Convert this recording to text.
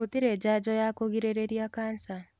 Gũtirĩ njanjo ya kũgirĩrĩria kanica.